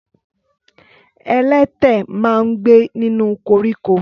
Ẹlẹtẹ ma ń gbé nínú koríko.